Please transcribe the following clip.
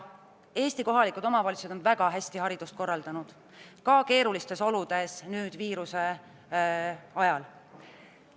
Eesti kohalikud omavalitsused on haridust väga hästi korraldanud ka keerulistes oludes, nüüd viiruse ajal.